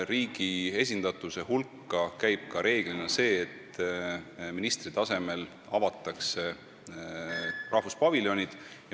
Riigi esindatuse hulka käib enamasti ka see, et minister avab rahvuspaviljoni.